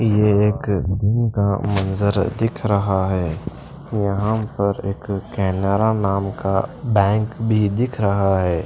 ये एक दिन का मंजर दिख रहा है यहां पर एक कैनरा नाम का बैंक भी दिख रहा है।